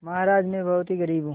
महाराज में बहुत ही गरीब हूँ